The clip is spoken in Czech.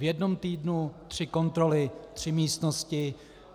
V jednom týdnu tři kontroly, tři místnosti.